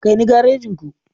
Kai ni garejin ku.